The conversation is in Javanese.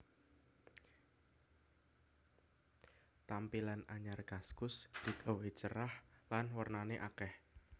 Tampilan anyar kaskus digawe cerah lan wernane akeh